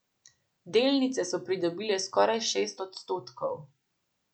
Delnice so pridobile skoraj šest odstotkov.